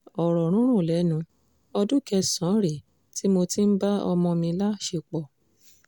ọ̀rọ̀ rúnrún lẹ́nu ọdún kẹsàn-án rèé tí mo ti ń bá ọmọ mi láṣepọ̀